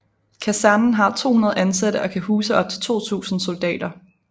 Kasernen har 200 ansatte og kan huse op til 2000 soldater